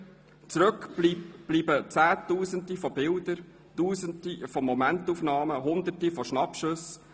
Zurück bleiben Zehntausende Bilder, Tausende Momentaufnahmen, Hunderte von Schnappschüssen;